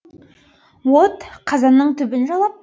от қазанның түбін жалап